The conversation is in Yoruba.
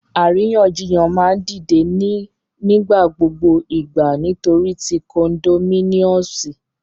Àríyànjiyàn ma n dide ni nigbagbogbo igba nitori ti condominiumsi